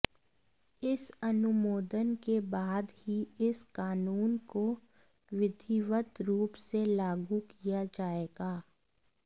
इस अनुमोदन के बाद ही इस कानून को विधिवत रूप से लागू किया जाएगा